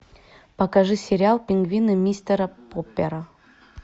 покажи сериал пингвины мистера поппера